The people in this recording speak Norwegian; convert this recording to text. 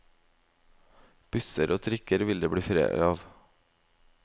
Busser og trikker vil det bli flere av.